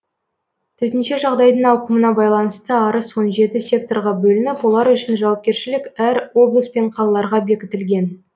төтенше жағдайдың ауқымына байланысты арыс он жеті секторға бөлініп олар үшін жауапкершілік әр облыс пен қалаларға бекітілген